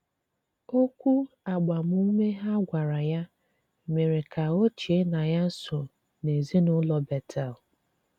Òkwù agbàmùme ha gwàrà ya mèré ka ò chée na ya sὸ n’ezinụlọ Bétel.